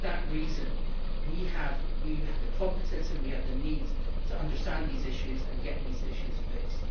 and for that reason we have the competence and we have the need to understand these issues and get these issues fixed.